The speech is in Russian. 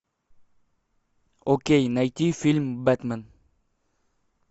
окей найди фильм бэтмен